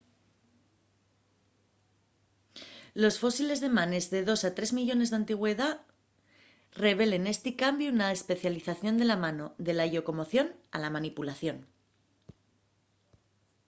los fósiles de manes de dos a tres millones d'antigüedá revelen esti cambiu na especialización de la mano de la llocomoción a la manipulación